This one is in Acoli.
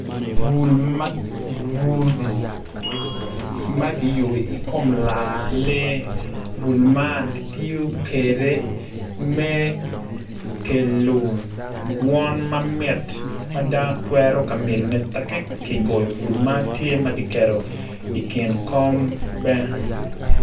Bul ma kiyubu i kom laa lee bul man ki tiyo kede me kelo dwon ma mit ma dano twero ka myelone teki ki goyo bul man tye ma kiketo i kin kom be